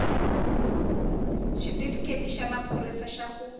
xitifiketi xa maphorisa xa ku